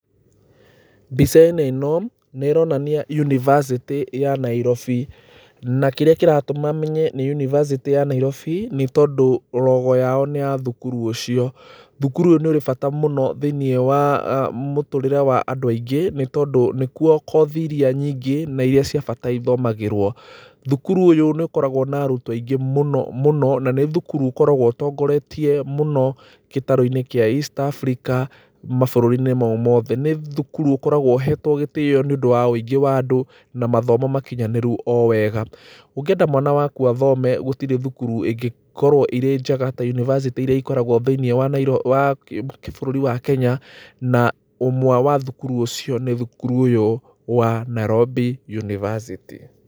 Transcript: Mbica-inĩ ĩno nĩ ĩronania University ya Nairobi na kĩrĩa kĩratuma menye nĩ University ya Nairobi nĩ tondũ logo yao nĩ ya thukuru ũcio. Thukuru ũyũ nĩ ũrĩ bata mũno thĩinĩ wa mũtũrĩre wa andũ aingĩ nĩ tondũ nĩkuo cothi iria nyingĩ na iria cia bata ithomagĩrwo. Thukuru ũyũ nĩ ũkoragwo na arutwo aingĩ mũno mũno na nĩ thukuru ũkoragwo ũtongoretie mũno gĩtarũ-inĩ kĩa East Africa mabũrũri-inĩ mau mothe. Nĩ thukuru ũkoragwo ukoragwo ũhetwo gĩtĩo nĩ ũndũ wa wũingĩ wa andũ na mathomo makinyanĩru wega. Ũngĩenda mwana waku athome gũtirĩ thukuru ingikorwo irĩ njega ta Ũniversity iria ikoragwo thĩinĩ wa bũrũri wa Kenya na ũmwe wa thukuru icio nĩ thukuru ũyũ wa Nairobi University.